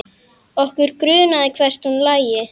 Okkur grunaði hvert hún lægi.